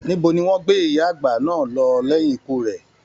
Níbo ní wọn gbé ìyá àgbà náà lọ lẹyìn ikú rẹ?